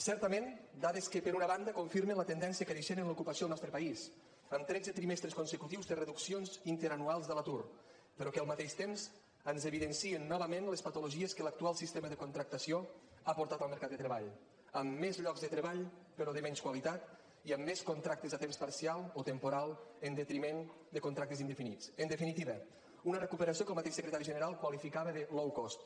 certament dades que per una banda confirmen la tendència creixent en l’ocupació al nostre país amb tretze trimestres consecutius de reduccions interanuals de l’atur però que al mateix temps ens evidencien novament les patologies que l’actual sistema de contractació ha portat al mercat de treball amb més llocs de treball però de menys qualitat i amb més contractes a temps parcial o temporal en detriment de contractes indefinits en definitiva una recuperació que el mateix secretari general qualificava de low cost